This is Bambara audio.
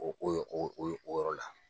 O o yo o yo o yɔrɔ la.